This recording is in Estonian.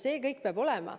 See kõik peab olema.